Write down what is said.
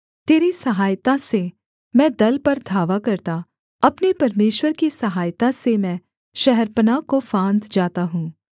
तेरी सहायता से मैं दल पर धावा करता अपने परमेश्वर की सहायता से मैं शहरपनाह को फाँद जाता हूँ